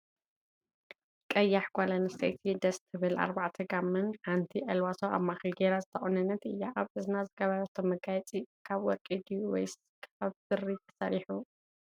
ቀያሕ ጎል ኣንስትየቲ ደስ ትብል ኣርባዕተ ጋማን ሓንቲ ኣልባሶ ኣብ ማእከል ገይራ ዝተቆነነት እያ። ኣብ እዝና ዝገበረቶ መጋየፂ ካብ ወርቂ ድዩ ወይስ ካብ ብሪ ተሰርሑ?